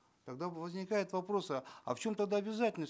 тогда возникают вопросы а в чем тогда обязательность